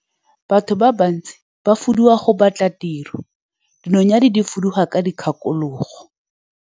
Batho ba bantsi ba fuduga go batla tiro, dinonyane di fuduga ka dikgakologo.